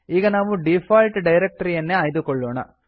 ಈಗ ನಾವು ಡೀಫಾಲ್ಟ್ ಡೈರಕ್ಟರಿಯನ್ನೇ ಆಯ್ದುಕೊಳ್ಳೋಣ